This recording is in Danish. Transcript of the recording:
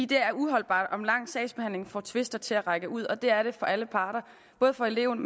det er uholdbart og en lang sagsbehandling får tvister til at trække ud og det er det for alle parter både for eleven